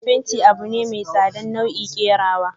fenti abune mai sa'adan nau'i kerawa.